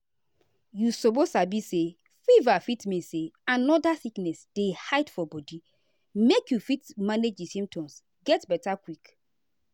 you suppose sabi say fever fit mean say another sickness dey hide for body make you fit manage di symptoms get beta quick.